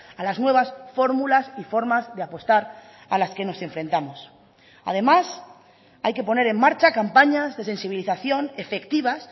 a las nuevas fórmulas y formas de apostar a las que nos enfrentamos además hay que poner en marcha campañas de sensibilización efectivas